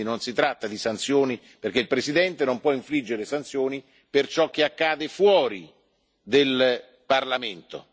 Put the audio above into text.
Quindi non si tratta di sanzioni, perché il Presidente non può infliggere sanzioni per ciò che accade fuori del Parlamento.